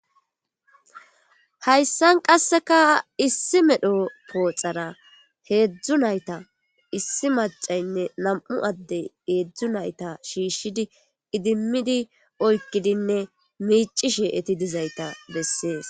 hayssan qasseka issi medho pooxara heedzdzu nayta issi macaynne nam7u addey heedzdzu nayta shiishshidi idimmidi oykkidinne miici she eti dizayta bessees